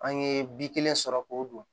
An ye bi kelen sɔrɔ k'o don